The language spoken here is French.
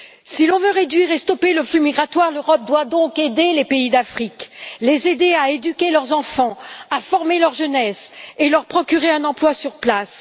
Si l'on veut réduire et stopper le flux migratoire, l'Europe doit aider les pays d'Afrique, les aider à éduquer leurs enfants, à former leur jeunesse et leur procurer un emploi sur place.